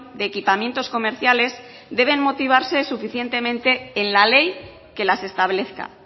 de equipamientos comerciales deben motivarse suficientemente en la ley que las establezca